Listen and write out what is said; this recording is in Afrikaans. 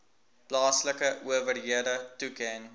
plaaslike owerhede toeken